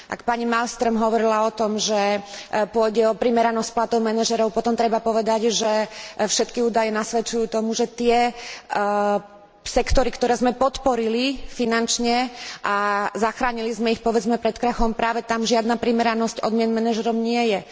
Ak pani Malmströmová hovorila o tom, že pôjde o primeranosť platov manažérov, potom treba povedať, že všetky údaje nasvedčujú tomu, že tie sektory, ktoré sme podporili finančne a zachránili sme ich, povedzme, pred krachom, práve tam žiadna primeranosť odmien manažérom nie je.